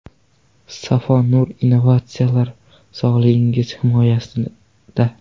Safo Nur innovatsiyalar sog‘lig‘ingiz himoyasida.